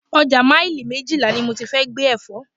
Ọjà maili méjìlá ni mo ti fẹ́ gbé Ẹ̀fọ́.